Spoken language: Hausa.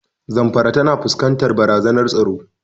Zamfara tana fuskantar barazanar tsaro.